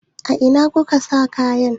A ina kuka sa kayan?